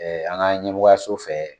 an ka ɲɛmɔgɔyaso fɛ.